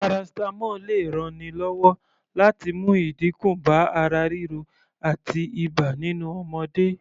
Paracetamol lè ranni lọ́wọ́ láti mú ìdínkù bá ara ríro àti ibà nínú ọmọdé